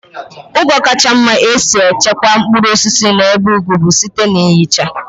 Ụzọ kacha mma e si echekwa mkpụrụ osisi n'ebe ugwu bụ site na ihicha.